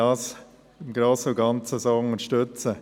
Im Grossen und Ganzen können wir die Aussagen unterstützen.